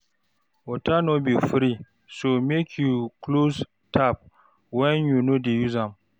Water no be free, so make you close tap when you no dey use am.